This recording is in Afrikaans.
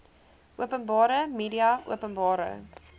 openbare media openbare